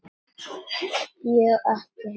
Ég á ekki heima hér.